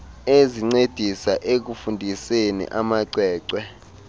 ezincedisa ekufundiseni amacwecwe